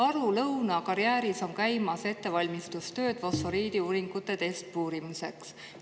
Aru-Lõuna karjääris on käimas ettevalmistustööd fosforiidiuuringute testpuurimiseks.